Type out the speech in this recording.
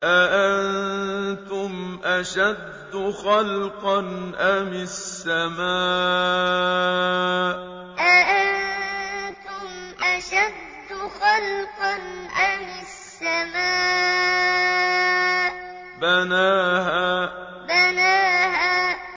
أَأَنتُمْ أَشَدُّ خَلْقًا أَمِ السَّمَاءُ ۚ بَنَاهَا أَأَنتُمْ أَشَدُّ خَلْقًا أَمِ السَّمَاءُ ۚ بَنَاهَا